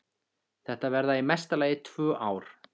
Þetta verða í mesta lagi tvö ár.